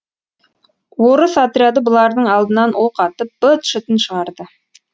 орыс отряды бұлардың алдынан оқ атып быт шытын шығарды